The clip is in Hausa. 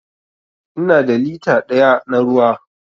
Ina da lita daya na ruwa.